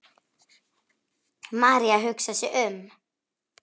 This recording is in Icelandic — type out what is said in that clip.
María hugsar sig um.